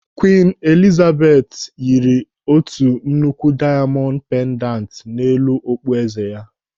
Kwiin Eliza yiri otu nnukwu diamondu pendantu n'elu okpu eze ya.